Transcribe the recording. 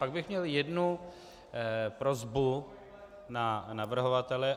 Pak bych měl jednu prosbu na navrhovatele.